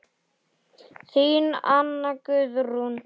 Þín Anna Guðrún.